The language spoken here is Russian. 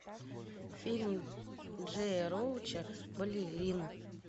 фильм джея роуча балерина